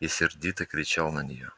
и сердито кричал на нее